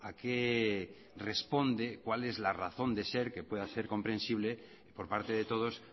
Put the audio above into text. qué responde cuál es la razón de ser que pueda ser comprensible por parte de todos